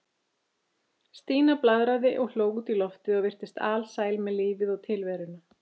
Stína blaðraði og hló út í loftið og virtist alsæl með lífið og tilveruna.